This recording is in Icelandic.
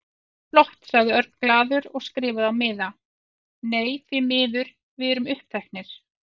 Flott sagði Örn glaður og skrifaði á miða: Nei, því miður, við erum uppteknir